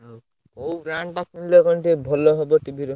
ହଉ କୋଉ brand ଟା କିଣିଲେ କଣ ଟିକେ? ଭଲ ହବ TV ର?